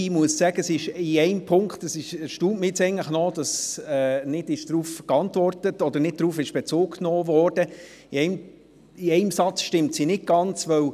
Ich muss sagen, dass es mich erstaunt, dass nicht darauf Bezug genommen worden ist, dass diese in einem Satz nicht genau stimmt.